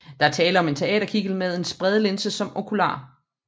Der er tale om en teaterkikkert med en spredelinse som okular